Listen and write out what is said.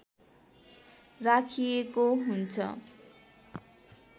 राखिएको हुन्छ